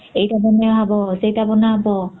ଏଇଟା ବନା ହବ ସେଇଟା ବନା ହବ